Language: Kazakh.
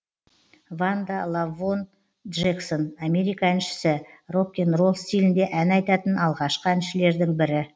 ванда лавонн джексон америка әншісі рок н ролл стилінде ән айтатын алғашқы әншілердің бірі